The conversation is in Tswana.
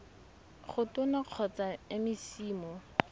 go tona kgotsa mec mo